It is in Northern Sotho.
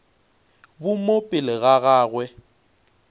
bo mo pele ga gagwe